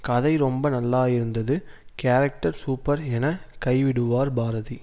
கதை ரொம்ப நல்லாயிருந்தது கேரக்டர் சூப்பர் என கைவிடுவார் பாரதி